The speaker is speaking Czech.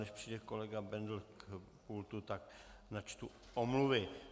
Než přijde kolega Bendl k pultu, tak načtu omluvy.